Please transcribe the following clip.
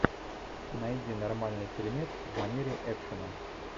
найди нормальный фильмец в манере экшена